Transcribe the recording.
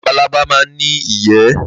Labalábá máà ńi ìyẹ́.